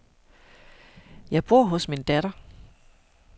Jeg bor hos min datter.